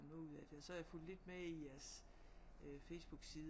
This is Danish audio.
Noget ud af det og så har jeg fulgt lidt med i jeres Facebook side